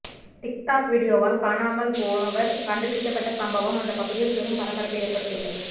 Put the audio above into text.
TikTok வீடியோவால் காணாமல் போனவர் கண்டுபிடிக்கப்பட்ட சம்பவம் அந்த பகுதியில் பெரும் பரபரப்பை ஏற்படுத்தியுள்ளது